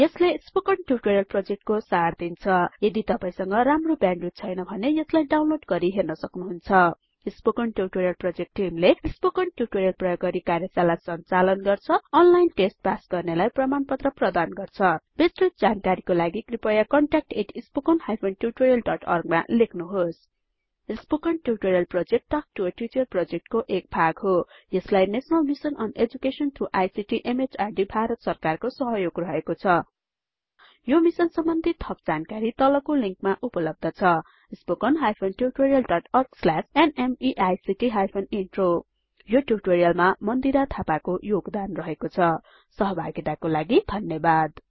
यसले spoken tutorial प्रोजेक्टको सार दिन्छ यदि तपाई संग राम्रो ब्याण्डविड्थ छैन भने यसलाई डाउनलोड गरि हेर्न सक्नुहुन्छ स्पोकन ट्युटोरियल प्रोजेक्ट टिमले स्पोकन ट्युटोरियल प्रयोग गरि कार्यशाला संचालन गर्छ अनलाइन टेस्ट पास गर्नेलाई प्रमाणपत्र प्रदान गर्छ बिस्तृत जानकारीको लागि कृपयाcontactspoken tutorialorg मा लेख्नुहोस् spoken tutorial project talk to a teacher प्रोजेक्टको एक भाग हो यसलाई national mission on education through ICT MHRDभारत सरकारको सहयोग रहेको छ यो मिसन सम्बन्धि थप जानकारी तलको लिंकमा मा उपलब्ध छ स्पोकन हाइफनtutorial डट orgस्ल्याश न्मेइक्ट हाइफन इन्ट्रो यो ट्युटोरियलमा मन्दिरा थापाको योगदान रहेको छ सहभागिताको लागि धन्यवाद